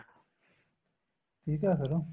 ਠੀਕ ਏ ਫੇਰ